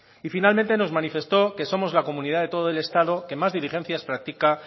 y finalmente nos manifestó que somos la comunidad de todo el estado que más diligencias practica